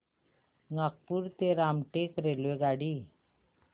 नागपूर ते रामटेक रेल्वेगाडी